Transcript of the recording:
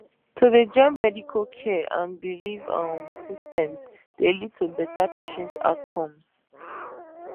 to dey join medical care and belief um systems dey lead to better patient outcomes